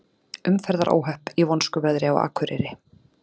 Umferðaróhöpp í vonskuveðri á Akureyri